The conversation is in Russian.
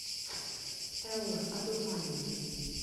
элла одурманена